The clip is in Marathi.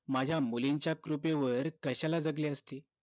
माझ्या मुलींच्या कृपेवर कश्याला जगले असते